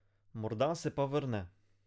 Morda se pa vrne.